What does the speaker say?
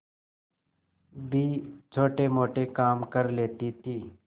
भी छोटेमोटे काम कर लेती थी